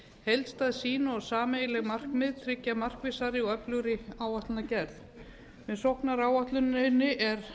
heildstæð sýn og sameiginleg markmið tryggja markvissari og öflugri áætlanagerð með sóknaráætluninni